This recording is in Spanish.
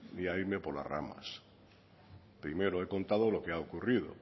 ni a irme por las ramas primero he contado lo que ha ocurrido